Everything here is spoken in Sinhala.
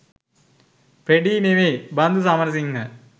ප්‍රෙඩී නෙවෙයි බන්දු සමරසිංහ